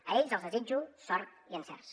a ells els desitjo sort i encerts